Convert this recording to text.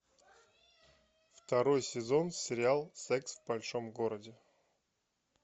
второй сезон сериал секс в большом городе